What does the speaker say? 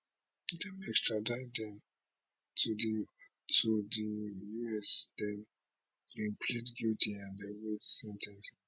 extradite dem to di to di U S den dem plead guilty and dey wait sen ten ce